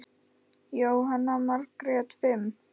Jóhanna Margrét: Fimm?